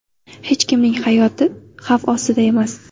Hech kimning hayoti xavf ostida emas.